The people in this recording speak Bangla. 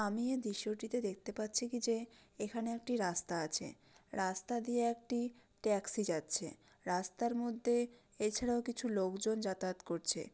আমিও দৃশ্যটিতে দেখতে পাচ্ছি কি যে এখানে একটি রাস্তা আছে রাস্তা দিয়ে একটি ট্যাক্সি যাচ্ছে রাস্তার মধ্যে এছাড়াও কিছু লোকজন যাতায়াত করছে।